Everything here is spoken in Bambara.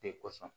Te kosɔn